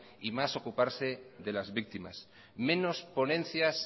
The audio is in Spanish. y más ocuparse de las víctimas menos ponencias